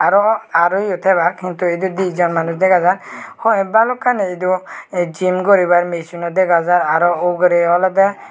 aaro aar oye debak muduetiti dijon manus degajar hoiek balukani edu eh jim guribar machino degajar aaro uguree olode.